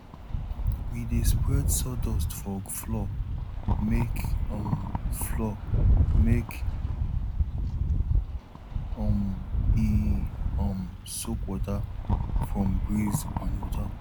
we dey spread sawdust for floor make um floor make um e um soak water from breeze and water